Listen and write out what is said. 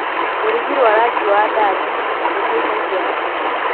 rũrigi rwa rangi wa ndathi rũteithagia atĩa